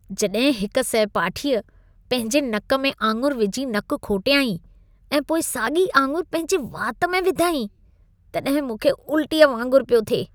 जॾहिं हिक सहपाठीअ पंहिंजे नक में आङुरि विझी नकु खोटियाईं ऐं पोइ साॻी आङुरि पंहिंजे वात में विधाईं, तॾहिं मूंख़े उल्टीअ वांगुर पियो थिए।